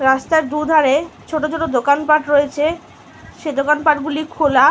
'' রাস্তার দু''''ধারেছোট ছোট দোকানপাট রয়েছেসে দোকানপাট গুলি খোলা। ''